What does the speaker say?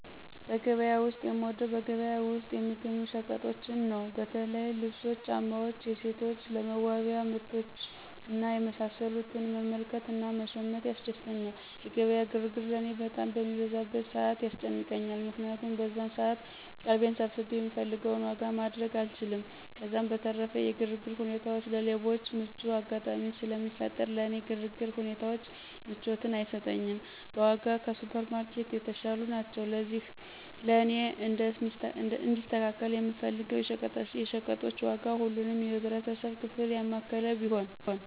በገበያ ላይ የምወደው በገበያ ውስጥ የሚገኙ ሸቀጦችን ነው። በተለይ ልብሶች፣ ጫማዎች፣ የሴቶች ለመዋቢያ ምርቶች እና የመሳሰሉትን መመልከት እና መሸመት ያስደስተኛል። የገበያ ግርግር ለእኔ በጣም በሚበዛበት ሰዓት ያስጨንቀኛል። ምክንያቱም በዛን ሰዓት ቀልቤን ሰብስቤ የምፈልገውን ዋጋ ማድረግ አልችልም፤ ከዛም በተረፈ የግርግር ሁኔታዎች ለሌቦች ምቹ አጋጣሚን ስለሚፈጥር ለእኔ የግርግር ሁኔታዎች ምቾትን አይሰጡኝም። በዋጋም ከሱፐር ማርኬትም የተሻሉ ናቸው። ለእኔ እንዲስተካከል የምፈልገው የሸቀጣሸቀጦች ዋጋ ሁሉንም የማህበረሰብ ክፍል የሚያማክል ቢሆን።